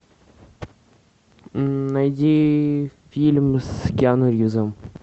найди фильм с киану ривзом